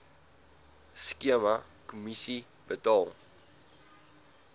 skema kommissie betaal